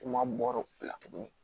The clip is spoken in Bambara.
Kuma bɔr'o la tuguni